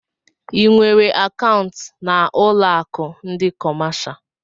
Ị nwèrè akaụntu na ụlọ akụ ndị kọmáshá?